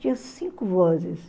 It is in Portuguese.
Tinha cinco vozes.